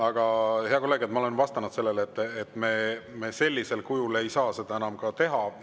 Aga, hea kolleeg, ma olen, et me sellisel kujul ei saa seda enam teha.